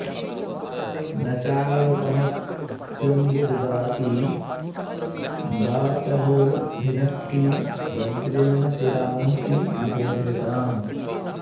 न चाल्पमप्यम्बु ददाति वासवो भिनत्ति वज्रेण शिरांसि भूभृताम्